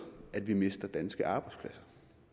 at vi mister danske arbejdspladser